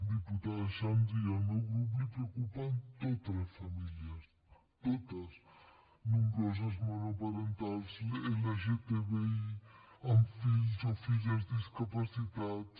diputada xandri al meu grup li preocupen totes les famílies totes nombroses monoparentals lgtbi amb fills o filles discapacitats